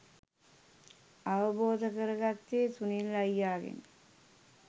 අවබෝධ කරගත්තේ සුනිල් අයියාගෙනි